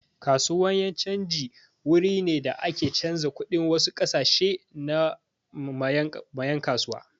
Kasuwan yan' canji wuri ne da ake canza kuɗin wasu kasashe ma yan' kasuwa.